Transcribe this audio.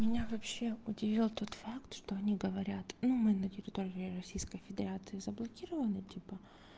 меня вообще удивил тот факт что они говорят ну мы на территории российской федерации заблокированы типа